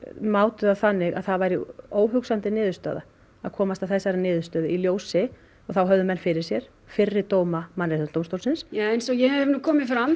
mátu það þannig að það væri óhugsandi niðurstaða að komast að þessari niðurstöðu í ljósi og þá höfðu menn fyrir sér fyrri dóma Mannréttindadómstólsins ja eins og hefur nú komið fram